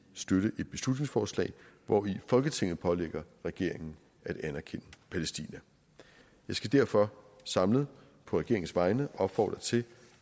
støtte et beslutningsforslag hvori folketinget pålægger regeringen at anerkende palæstina jeg skal derfor samlet på regeringens vegne opfordre til